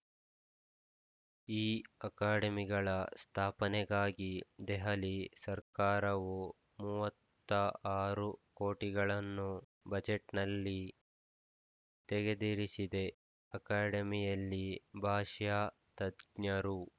ಈ ಅಕಾಡೆಮಿಗಳ ಸ್ಥಾಪನೆಗಾಗಿ ದೆಹಲಿ ಸರ್ಕಾರವು ಮೂವತ್ತ ಆರು ಕೋಟಿಗಳನ್ನು ಬಜೆಟ್‌ನಲ್ಲಿ ತೆಗೆದಿರಿಸಿದೆ ಅಕಾಡೆಮಿಯಲ್ಲಿ ಭಾಷ್ಯಾ ತದ್ ಗ್ನರು